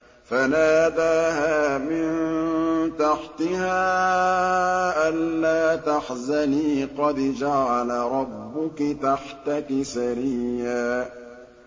فَنَادَاهَا مِن تَحْتِهَا أَلَّا تَحْزَنِي قَدْ جَعَلَ رَبُّكِ تَحْتَكِ سَرِيًّا